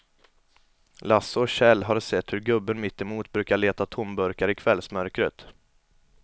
Lasse och Kjell har sett hur gubben mittemot brukar leta tomburkar i kvällsmörkret.